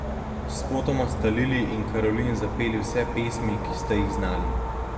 Spotoma sta Lili in Karolin zapeli vse pesmi, ki sta jih znali.